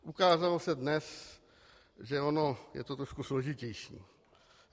Ukázalo se dnes, že ono je to trošku složitější.